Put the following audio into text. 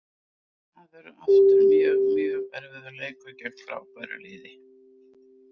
Það verður aftur mjög, mjög erfiður leikur gegn frábæru liði.